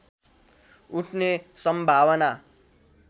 उठ्ने सम्भावना